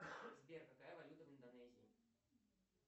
сбер какая валюта в индонезии